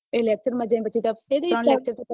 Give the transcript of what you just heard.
એ lecture માં